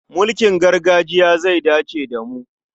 Mulkin gargajiya zai dace da mu.